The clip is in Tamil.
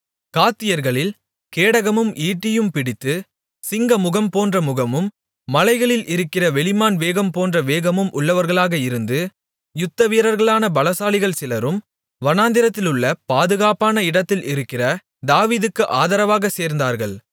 காத்தியர்களில் கேடகமும் ஈட்டியும் பிடித்து சிங்கமுகம் போன்ற முகமும் மலைகளில் இருக்கிற வெளிமான் வேகம் போன்ற வேகமும் உள்ளவர்களாக இருந்து யுத்தவீரர்களான பலசாலிகள் சிலரும் வனாந்திரத்திலுள்ள பாதுகாப்பான இடத்தில் இருக்கிற தாவீதுக்கு ஆதரவாக சேர்ந்தார்கள்